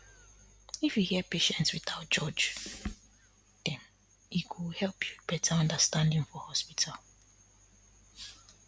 if you hear patients without judge dem e go help build better understanding for hospital